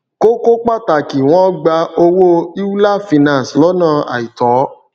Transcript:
kókó pàtàkì wọn gbà owó euler finance lọnà àìtọ